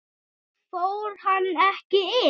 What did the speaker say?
Fór hann ekki inn?